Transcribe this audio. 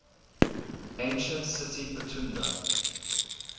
ancient city pithunda